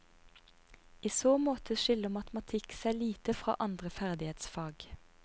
I så måte skiller matematikk seg lite fra andre ferdighetsfag.